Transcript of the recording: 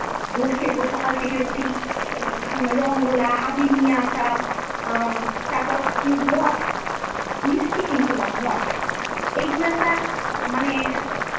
দোল খেলবো সকাল থেকে উঠেই, উম রঙ গোলা, আবির নিয়ে আসা, আহ তারপর মঠ, মিষ্টি কিন্তু না মঠ, এইগুলো একটা আহ মানে।